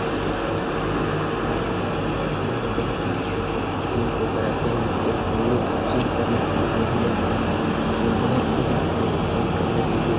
ये एक gym trainer है जो की यहां बोहोत ही अच्छे से जिम को कराते हैं और हमलोग जिम करने के लिए यही जाते हैं और बोहोत लोग आते हैं जिम करने के लिए ।